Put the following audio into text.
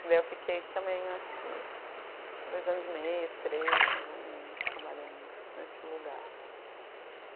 Daí eu fiquei também, acho que dois anos e meio, três, mais ou menos, trabalhando nesse lugar.